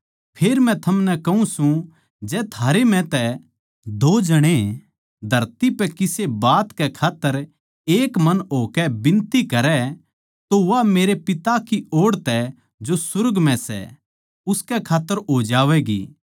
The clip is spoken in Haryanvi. फेर मै थमनै कहूँ सूं जै थारै म्ह तै दो जणे धरती पै किसे बात कै खात्तर एक मन होकै बिनती करै तो वा मेरे पिता की ओड़ तै जो सुर्ग म्ह सै उनकै खात्तर हो जावैगी